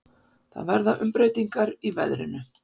Það verða umbreytingar í veðrinu.